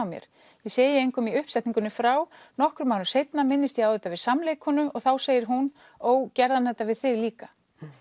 mér ég segi engum í uppsetningunni frá nokkrum árum seinna minnist ég á þetta við og þá segir hún ó gerði hann þetta við þig líka